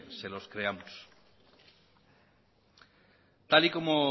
se los creamos tal y como